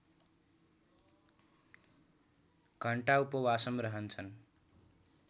घण्टा उपवासम रहन्छन्